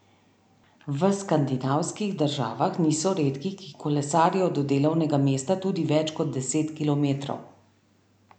V skandinavskih državah niso redki, ki kolesarijo do delovnega mesta tudi več kot deset kilometrov.